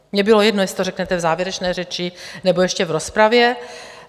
Mně bylo jedno, jestli to řeknete v závěrečné řeči, nebo ještě v rozpravě.